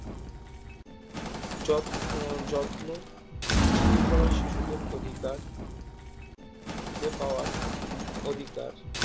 যত্ন যত্ন পিছিয়ে পড়া শিশুদের অধিকার ফিরে পাওয়ার অধিকার